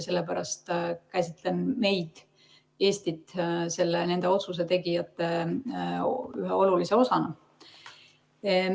Sellepärast käsitlen meid, Eestit, nende otsusetegijate ühe olulise osana.